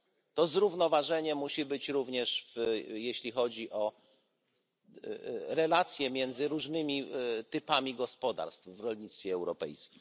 To zrównoważenie musi być również jeśli chodzi o relacje między różnymi typami gospodarstw w rolnictwie europejskim.